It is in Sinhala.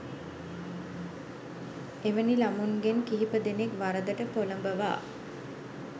එවැනි ළමුන්ගෙන් කිහිපදෙනෙක් වරදට පොළඹවා